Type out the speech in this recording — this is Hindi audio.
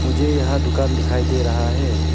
मुझे यहां दुकान दिखाई दे रहा है।